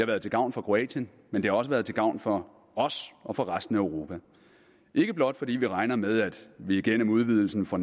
været til gavn for kroatien men det har også været til gavn for os og for resten af europa ikke blot fordi vi regner med at vi gennem udvidelsen får